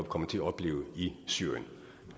komme til at opleve i syrien